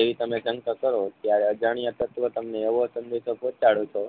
એવી તમે શંકા કરો ત્યારે અજાણ્યા તત્વો તમને એવો સંદેશો પોંહચાડો છો